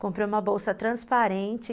Comprei uma bolsa transparente.